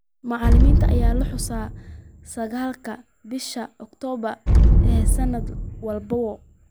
Maalintan ayaa la xusaa sagaalka bisha Oktoobar ee sanad walba.